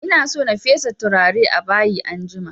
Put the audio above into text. Ina so na fesa turare a bayi anjima